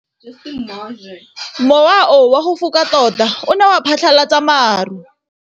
Mowa o wa go foka tota o ne wa phatlalatsa maru.